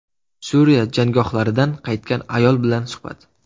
Suriya jangohlaridan qaytgan ayol bilan suhbat.